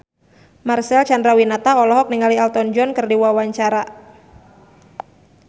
Marcel Chandrawinata olohok ningali Elton John keur diwawancara